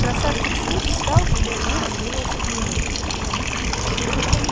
красавчик смит встал и боязливо двинулся к нему